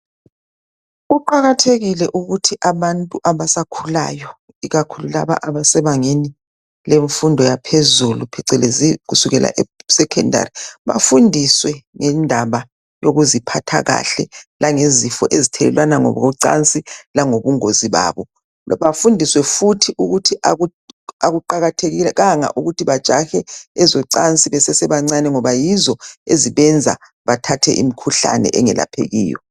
Kuqajathekile ukuthi abantu abasakhulayo, ikakhulu laba abasebangeni lemfundo yaphezulu, phecelezi kusukela esecondary. Bafundiswe ngendaba yokuziphatha kahle. Langezifo ezithelelwana ngokocansi, lobungozi bazo. Bafundiswe futhi ukuthi kakuqakathekanga ukuthi bajahe ezocansi, besesebancane, ngoba yizo ezibenza bathathe imikhuhlane engelaphekiyo.